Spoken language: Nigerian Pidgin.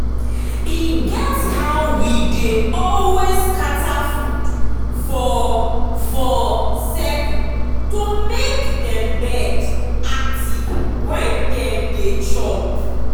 e get how we dey always scatter food for for circle to make dem bird active when dem dey chop.